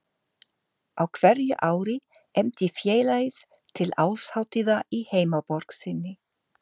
Á hverju ári efndi félagið til árshátíðar í heimaborg sinni